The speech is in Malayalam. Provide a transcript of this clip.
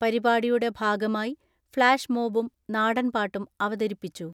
പരിപാടിയുടെ ഭാഗമായി ഫ്ളാഷ് മോബും നാടൻ പാട്ടും അവതരിപ്പിച്ചു.